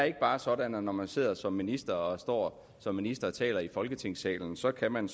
ikke bare er sådan at når man sidder som minister og står som minister og taler i folketingssalen så kan man